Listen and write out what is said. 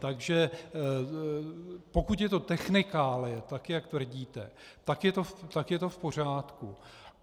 Takže pokud je to technikálie, tak jak tvrdíte, tak je to v pořádku.